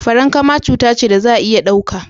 farankama cuta ce da za a iya dauka.